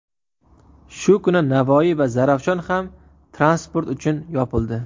Shu kuni Navoiy va Zarafshon ham transport uchun yopildi .